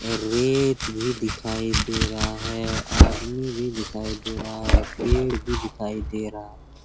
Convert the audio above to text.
और रेत भी दिखाई दे रहा है आदमी भी दिखाई दे रहा है पेड़ भी दिखाई दे रहा है।